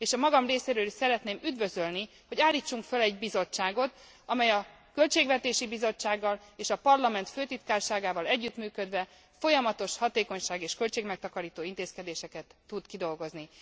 És a magam részéről is szeretném üdvözölni, hogy állítsunk föl egy bizottságot, amely a Költségvetési Bizottsággal és a Parlament Főtitkárságával együttműködve folyamatos hatékonyság és költségmegtakarító intézkedéseket tud kidolgozni.